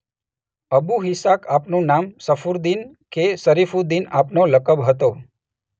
Abu Ishaq આપનું નામ અને શર્ફુદ્દીન કે શરીફુદ્દીન આપનો લકબ હતો.